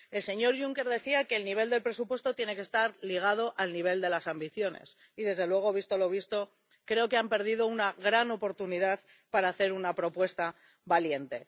El señor Juncker decía que el nivel del presupuesto tiene que estar ligado al nivel de las ambiciones, y desde luego, visto lo visto, creo que han perdido una gran oportunidad para hacer una propuesta valiente.